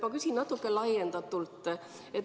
Ma küsin natuke laiendatult.